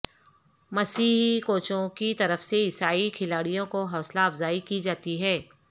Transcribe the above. مسیحی کوچوں کی طرف سے عیسائی کھلاڑیوں کو حوصلہ افزائی کی جاتی ہے